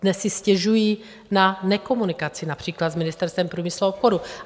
Dnes si stěžují na nekomunikaci, například s Ministerstvem průmyslu a obchodu.